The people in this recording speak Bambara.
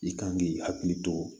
I kan k'i hakili to